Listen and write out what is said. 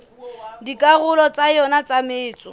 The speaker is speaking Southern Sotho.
dikarolong tsa yona tsa metso